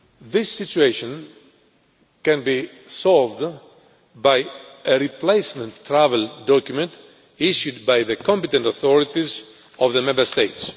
This situation can be solved using a replacement travel document issued by the competent authorities of the Member States.